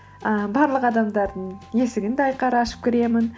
ііі барлық адамдардың есігін де ашып кіремін